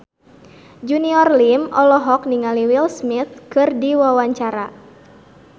Junior Liem olohok ningali Will Smith keur diwawancara